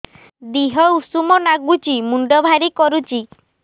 ଦିହ ଉଷୁମ ନାଗୁଚି ମୁଣ୍ଡ ଭାରି କରୁଚି